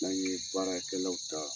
N'an ye baarakɛlaw ta